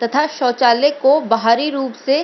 तथा शौचालय को बाहरी रूप से --